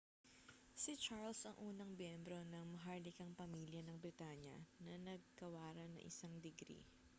si charles ang unang miyembro ng maharlikang pamilya ng britanya na nagawaran ng isang digri